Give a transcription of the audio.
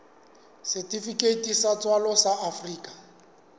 setifikeiti sa tswalo sa afrika